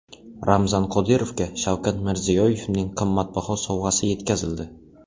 Ramzan Qodirovga Shavkat Mirziyoyevning qimmatbaho sovg‘asi yetkazildi .